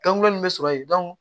Dɔnku nin bɛ sɔrɔ yen